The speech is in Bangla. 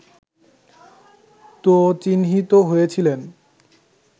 তো চিহ্নিত হয়েছিলেন